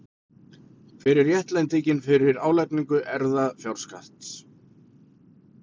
Hver er réttlætingin fyrir álagningu erfðafjárskatts?